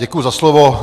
Děkuji za slovo.